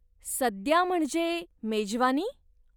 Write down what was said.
सद्या म्हणजे, मेजवानी ?